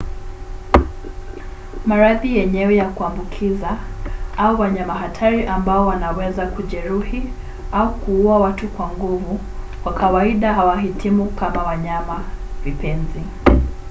maradhi yenyewe ya kuambukiza au wanyama hatari ambao wanaweza kujeruhi au kuua watu kwa nguvu kwa kawaida hawahitimu kama wanyama-vipenzi